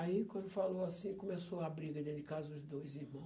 Aí, quando falou assim, começou a briga dentro de casa, os dois irmão.